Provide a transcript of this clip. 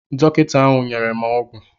Dọkịta ahụ nyere m ọgwụ